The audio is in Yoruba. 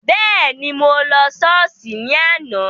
Bẹ́ẹ̀ni, mo lọ Sọ́ọ́sì ni àná.